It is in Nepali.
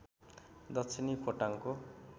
दक्षिणी खोटाङको